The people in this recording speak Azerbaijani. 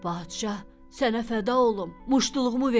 Padşah, sənə fəda olum, muştuluğumu ver.